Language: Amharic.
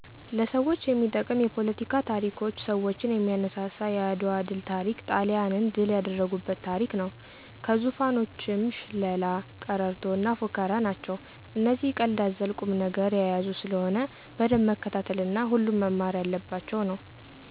ለሰዎች የሚጠቅም የፓለቲካ ታሪኮች ሰዎችን የሚያነሳሳ የአድዋ ድል ታሪክ ጣሊያንን ድል ያደረጉበት ታሪክ ነው። ከዙፋኖችም ሽላላ፣ ቀረርቶ እና ፉከራ ናቸው እነዚህ ቀልድ አዘል ቁም ነገር የያዙ ስለሆነ በደንብ መከታተል እና ሁሉም መማር የለባቸው ነው